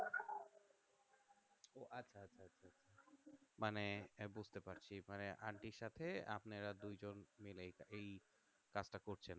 মানে বুঝতে পারছি মানে aunty র সাথে আপনারা দুইজন মিলেই এই কাজটা করছেন